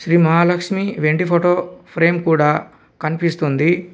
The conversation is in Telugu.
శ్రీ మహాలక్ష్మి వెండి ఫోటో ఫ్రేమ్ కూడా కనిపిస్తుంది.